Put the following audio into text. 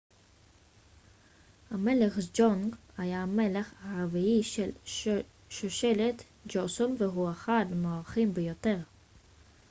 המלך סג'ונג היה המלך הרביעי של שושלת ג'וסון והוא אחד המוערכים ביותר